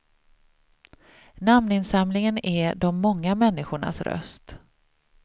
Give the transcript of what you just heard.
Namninsamlingen är de många människornas röst.